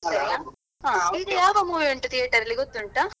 ಈಗ ಯಾವ movie ಉಂಟು theater ಅಲ್ಲಿ ಗೊತ್ತುಂಟಾ?